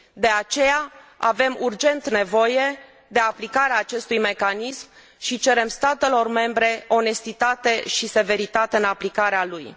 De aceea, avem urgent nevoie de aplicarea acestui mecanism și cerem statelor membre onestitate și severitate în aplicarea lui.